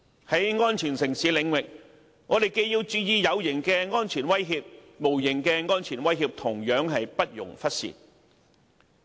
在安全城市領域，我們既要注意有形的安全威脅，但無形的安全威脅同樣不容忽視。